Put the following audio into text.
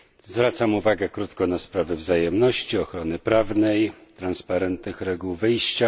Zwracam tylko krótko uwagę na sprawę wzajemności, ochrony prawnej, transparentnych reguł wyjścia.